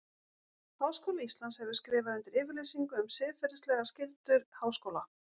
Háskóli Íslands hefur skrifað undir yfirlýsingu um siðferðilegar skyldur háskóla.